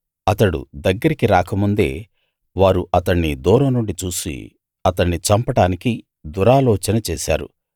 అతడు దగ్గరికి రాక ముందే వారు అతణ్ణి దూరం నుండి చూసి అతణ్ణి చంపడానికి దురాలోచన చేశారు